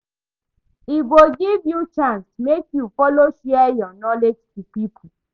E go give you chance mek yu follow share yur knowledge to pipo